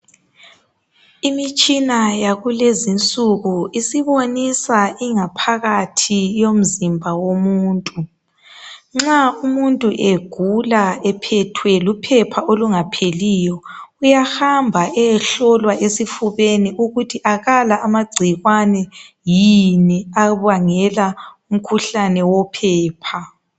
Imitshina yakulezinsuku isibonisa ingaphakathi yomzimba womuntu. Nxa umuntu egula ephethwe luphepha olungapheliyo uyahamba eyehlolwa esifubeni ukuthi akala yini amagcikwane abangela umkhuhlane wophepha.